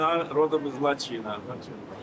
Laçından doğulub.